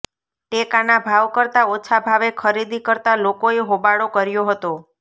ટેકાના ભાવ કરતા ઓછા ભાવે ખરીદી કરતા લોકોએ હોબાળો કર્યો હતો